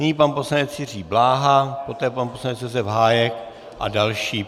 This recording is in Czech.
Nyní pan poslanec Jiří Bláha, poté pan poslanec Josef Hájek a další.